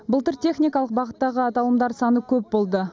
былтыр техникалық бағыттағы аталымдар саны көп болды